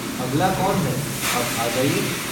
अगला कौन है अब आ जाइए!